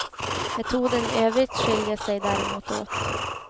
Metoden i övrigt skiljer sig däremot åt.